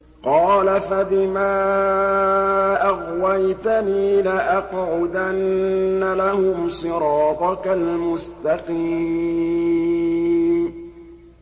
قَالَ فَبِمَا أَغْوَيْتَنِي لَأَقْعُدَنَّ لَهُمْ صِرَاطَكَ الْمُسْتَقِيمَ